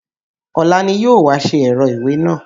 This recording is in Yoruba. Ọ̀la ni yóò wá ṣe ẹ̀rọ ìwé náà?